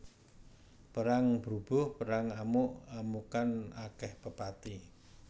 Perang brubuh perang amuk amukan akèh pepati